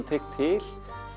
tek til